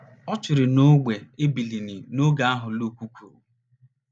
Ọ chịrị n’ógbè ịbilini n’oge ahụ Lukuku.